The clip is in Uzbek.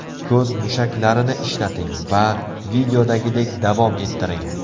Ko‘z mushaklarini ishlating va videodagidek davom ettiring.